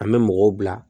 An bɛ mɔgɔw bila